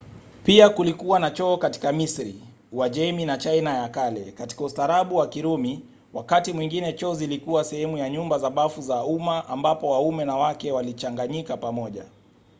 pia kulikuwa na choo katika misri uajemi na china ya kale. katika ustaarabu wa kirumi wakati mwingine choo zilikuwa sehemu ya nyumba za bafu za umma ambapo waume na wake walichanganyika pamoja